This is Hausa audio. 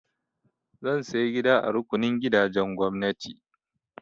Zan saya gida a rukunin gidajen gwamnati.